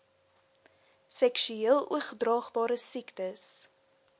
seksueel oordraagbare siektes